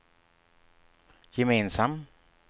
gemensam